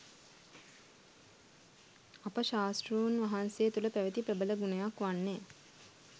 අප ශාස්තෘන් වහන්සේ තුළ පැවැති ප්‍රබල ගුණයක් වන්නේ